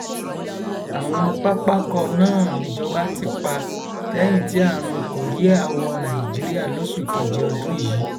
àwọn pápákọ náà nìjọba ti pa lẹyìn tí àrùn korea wọ nàìjíríà lóṣù kejì ọdún yìí